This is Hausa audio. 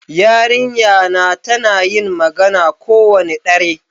Yarinƴa na tana yin magana kowane ɗare.